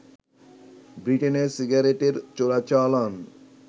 ব্রিটেনে সিগারেটের চোরাচালান